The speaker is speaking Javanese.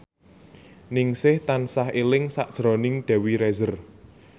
Ningsih tansah eling sakjroning Dewi Rezer